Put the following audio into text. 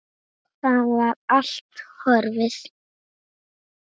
Það var allt horfið!